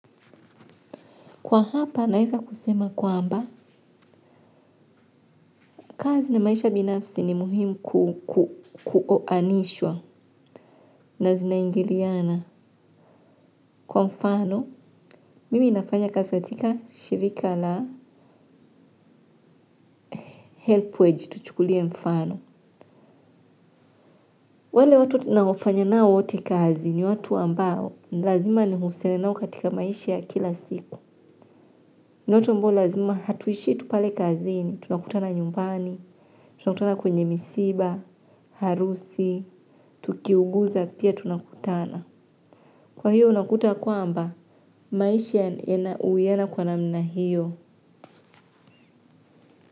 Kwa hapa, naweza kusema kwamba, kazi na maisha binafsi ni muhimu kukuoanishwa na zinaingiliana. Kwa mfano, mimi nafanya kazi katika shirika la help wedge, tuchukulie mfano. Wale watu tunaofanya nao wote kazi ni watu ambao, lazima nihusiane nao katika maisha ya kila siku. Ni watu ambao lazima hatuishi tu pale kazini, tunakutana nyumbani, tunakutana kwenye misiba, harusi, tukiuguza pia tunakutana. Kwa hiyo unakuta kwamba, maisha yana uwiano kwa namna hiyo.